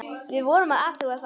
Við vorum að athuga það.